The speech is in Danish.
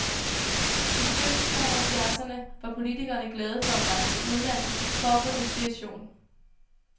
I begyndelsen af halvfjerdserne var politikerne glade for at rejse til udlandet for at få inspiration.